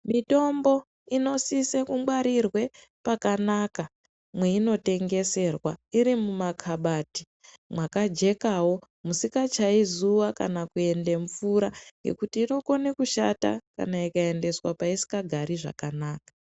Mitombo inosise kungwarirwe paka mweinotengeserwa iri mumakabadhi mwakajekawo musingatyayi zuwa kana kuende mvura ngekuti inokone kushata kana ikaendeswa paisingagari zvakanaka.